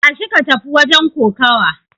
Tashi ka tafi wajen kokawa!